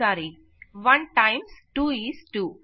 sorry 1 times 2 is 2